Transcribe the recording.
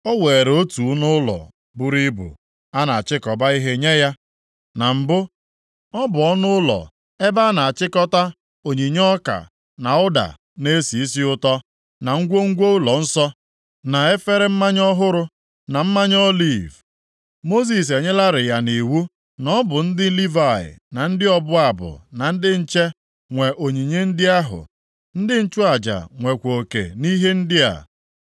o weere otu ọnụụlọ buru ibu a na-achịkọba ihe nye ya. Na mbụ, ọ bụ ọnụụlọ ebe a na-achịkọta onyinye ọka na ụda na-esi isi ụtọ, na ngwongwo ụlọnsọ, na efere mmanya ọhụrụ, na mmanụ oliv. Mosis enyelarị ya nʼiwu na ọ bụ ndị Livayị na ndị ọbụ abụ na ndị nche nwe onyinye ndị ahụ. Ndị nchụaja nwekwa oke nʼihe ndị a.